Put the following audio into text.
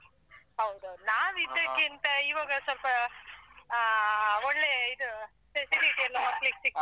ಹೌದೌದು ಇವಾಗ ಸ್ವಲ್ಪ ಆ ಒಳ್ಳೆ ಇದು facility ಎಲ್ಲ ಮಕ್ಳಿಗ್‌ ಸಿಗ್ತಾ.